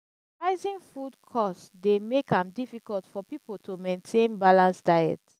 rising food cost dey make am difficult for people to maintain balanced diet.